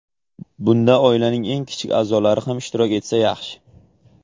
Bunda oilaning eng kichik a’zolari ham ishtirok etsa yaxshi.